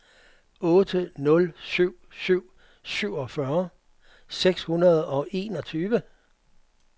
otte nul syv syv syvogfyrre seks hundrede og enogtyve